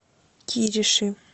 кириши